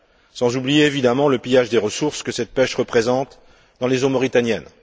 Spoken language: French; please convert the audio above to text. Sans oublier bien entendu le pillage des ressources que cette pêche représente dans les eaux mauritaniennes.